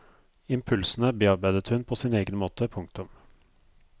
Impulsene bearbeidet hun på sin egen måte. punktum